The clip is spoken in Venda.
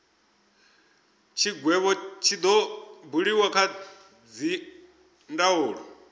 tshigwevho tshi do buliwa kha dzindaulo